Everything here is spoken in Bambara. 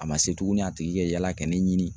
A ma se tuguni a tigi ka yaala ka ne ɲini.